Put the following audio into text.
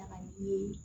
Daga bilen